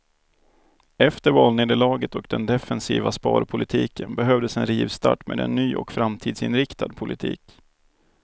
Efter valnederlaget och den defensiva sparpolitiken behövdes en rivstart med en ny och framtidsinriktad politik.